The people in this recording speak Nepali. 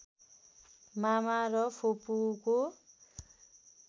मामा र फुपूको